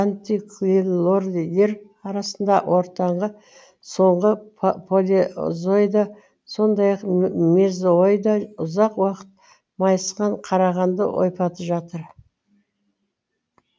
антиклинорийлер арасында ортаңғы соңғы палеозойда сондай ақ мезойда ұзақ уақыт майысқан қарағанды ойпаты жатыр